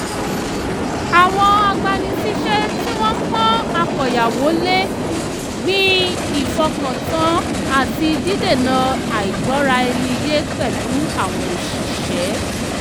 àwọn agbani-síṣẹ́ tí wọ́n pọ́n àkóyawọ́ lé gbin ìfọkàntán àti dídènà àìgbọ́ra ẹni yé pẹ̀lú àwọn òṣiṣẹ́